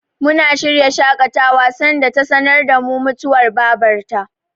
Muna shirya shaƙatawa sanda ta sanar da mu mutuwar Babar ta.